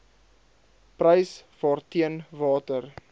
prys waarteen water